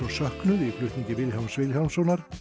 söknuð í flutningi Vilhjálms Vilhjálmssonar